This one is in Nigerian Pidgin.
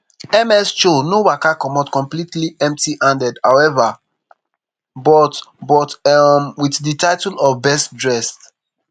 ms choi no waka comot completely empty handed however but but um with di title of best dressed